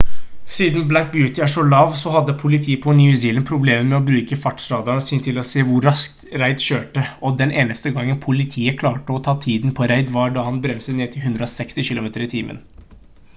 siden black beauty er så lav så hadde politiet på new zealand problemer med å bruke fartsradaren sin til å se hvor raskt reid kjørte og den eneste gangen politiet klarte å ta tiden på reid var da han bremset ned til 160 km/t